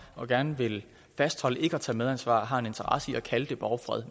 og gerne vil fastholde ikke at tage medansvar har en interesse i at kalde det borgfred